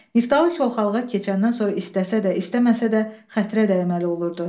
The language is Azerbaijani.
Niftalı Koxalığa keçəndən sonra istəsə də, istəməsə də xətrə dəyməli olurdu.